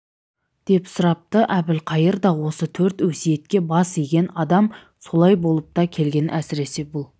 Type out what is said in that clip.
деп сұрапты әбілқайыр да осы төрт өсиетке бас иген адам солай болып та келген әсіресе бұл